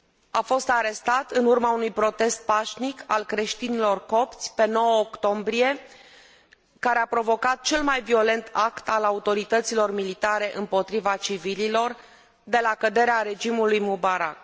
A fost arestat în urma unui protest pașnic al creștinilor copți, pe 9 octombrie, care a provocat cel mai violent act al autorităților militare împotriva civililor de la căderea regimului Mubarak.